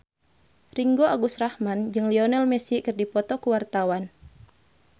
Ringgo Agus Rahman jeung Lionel Messi keur dipoto ku wartawan